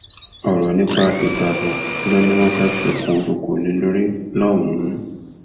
ọrọ nípa ètò ààbò ló ní wọn fẹẹ fikùn lukùn lé lórí lọhùnún